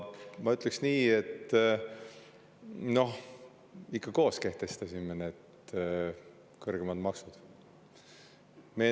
Ma ütleks nii, et me ikka koos kehtestasime need kõrgemad maksud.